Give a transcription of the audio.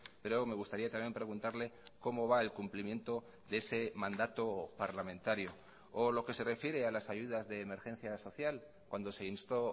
pero me gustaría también preguntarle cómo va el cumplimiento de ese mandato parlamentario o lo que se refiere a las ayudas de emergencia social cuando se instó